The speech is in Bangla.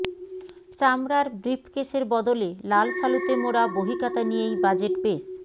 চামড়ার ব্রিফকেসের বদলে লাল শালুতে মোড়া বহিখাতা নিয়েই বাজেট পেশ